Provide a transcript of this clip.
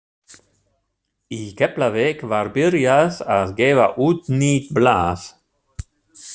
Í Keflavík var byrjað að gefa út nýtt blað.